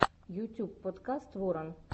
ютьюб подкаст ворон